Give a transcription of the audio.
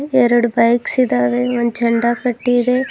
ಎರಡು ಬೈಕ್ಸ್ ಇದಾವೆ ಒಂದ್ ಝಂಡಾ ಕಟ್ಟಿ ಇದೆ.